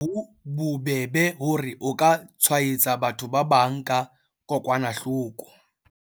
Ka hoo, ha ho bobebe hore o ka tshwaetsa batho ba bang ka kokwanahloko.